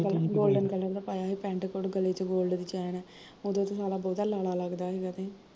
golden ਰੰਗ ਦਾ ਪਾਇਆ ਸੀ ਪੈਂਟ ਕੋਟ ਗਲੇ ਚ golden color ਦੀ ਚੈਨ, ਉਹਦੋ ਤੇ ਸਾਲਾ ਬਹੁਤਾ ਲਾਲਾ ਲੱਗਦਾ ਸੀਗਾ ਤੇ